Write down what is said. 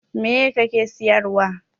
Meye kake siyarwa?